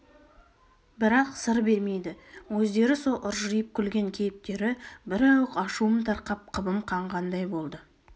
бірақ сыр бермейді өздері со ыржиып күлген кейіптері бір ауық ашуым тарқап қыбым қанғандай болды